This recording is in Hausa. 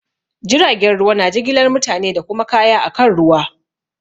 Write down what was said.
Jiragen ruwa na jigilar mutane da kuma kaya akan ruwa.